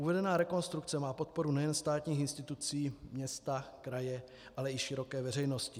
Uvedená rekonstrukce má podporu nejen státních institucí, města, kraje, ale i široké veřejnosti.